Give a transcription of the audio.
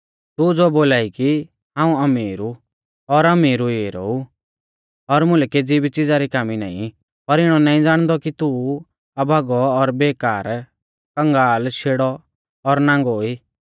तू ज़ो बोलाई कि हाऊं अमीर ऊ और अमीर हुई ऐरौ ऊ और मुलै केज़ी भी च़िज़ा री कामी नाईं पर इणौ नाईं ज़ाणदौ कि तू अभागौ और बेकार कंगाल शेड़ौ और नांगौ ई